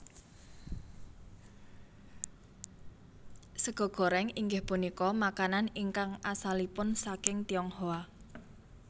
Sega goréng inggih punika makanan ingkang asalipun saking Tionghoa